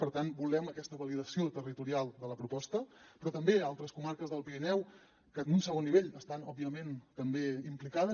per tant volem aquesta validació territorial de la proposta però també d’altres comarques del pirineu que en un segon nivell hi estan òbviament també implicades